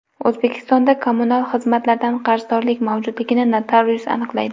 O‘zbekistonda kommunal xizmatlardan qarzdorlik mavjudligini notarius aniqlaydi.